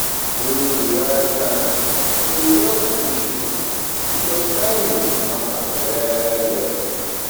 Choose di right time to resolve di issue, because timing matter well well